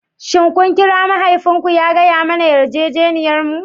Shin kun kira mahaifinku ya gaya masa yarjejeniyarmu?